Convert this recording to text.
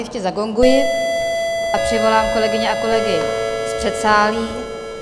Ještě zagonguji a přivolám kolegyně a kolegy z předsálí.